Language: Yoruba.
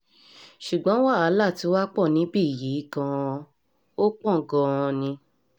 ṣùgbọ́n wàhálà tiwa pọ̀ níbí yìí gan-an ò pọ̀ gan-an ni o